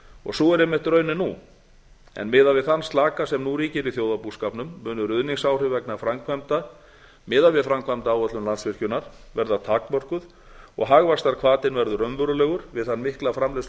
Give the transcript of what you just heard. atvinnulausar sú er einmitt raunin án en miðað við þann slaka sem nú ríkir í þjóðarbúskapnum munu ruðningsáhrif vegna framkvæmda miðað við framkvæmdaáætlun landsvirkjunar verða takmörkuð og hagvaxtarhvatinn verður raunverulegur við þann mikla